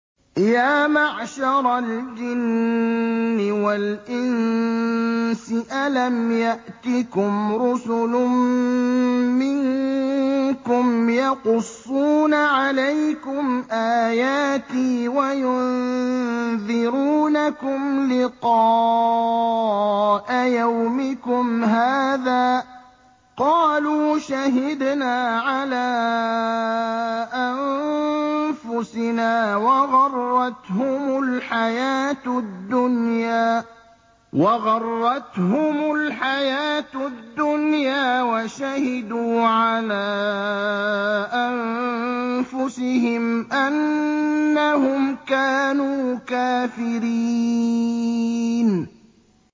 يَا مَعْشَرَ الْجِنِّ وَالْإِنسِ أَلَمْ يَأْتِكُمْ رُسُلٌ مِّنكُمْ يَقُصُّونَ عَلَيْكُمْ آيَاتِي وَيُنذِرُونَكُمْ لِقَاءَ يَوْمِكُمْ هَٰذَا ۚ قَالُوا شَهِدْنَا عَلَىٰ أَنفُسِنَا ۖ وَغَرَّتْهُمُ الْحَيَاةُ الدُّنْيَا وَشَهِدُوا عَلَىٰ أَنفُسِهِمْ أَنَّهُمْ كَانُوا كَافِرِينَ